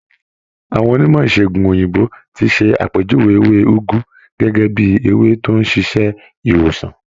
Àwọn onímọ̀ ìṣègùn òyìnbó ti ṣe àpèjúwe ewé úgú gẹ́gẹ́ bíi ewé tó ń ṣiṣẹ́ ìwòsàn.